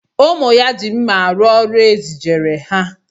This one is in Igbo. Ụmụ ya ji mma arụ ọrụ e zijere ha